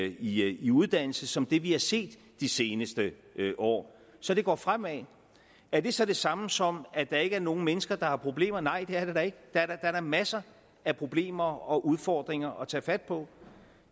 i i uddannelse som det vi har set de seneste år så det går fremad er det så det samme som at der ikke er nogen mennesker der har problemer nej det er det da ikke der er masser af problemer og udfordringer at tage fat på